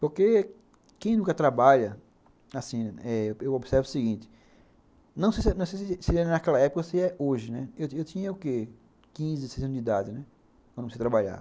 Porque quem nunca trabalha, assim, eu observo o seguinte, não sei se era naquela época ou se é hoje, eu tinha o quê, quinze, dezesseis anos de idade, quando comecei a trabalhar.